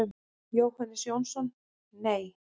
Jóhannes Jónsson: Nei.